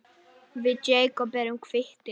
Við Jakob erum kvittir